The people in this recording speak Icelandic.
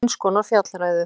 Eins konar fjallræðu.